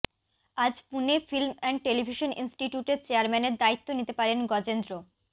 আজ Pune film and television ইনস্টিটিউটের চেয়ারম্যানের দায়িত্ব নিতে পারেন গজেন্দ্র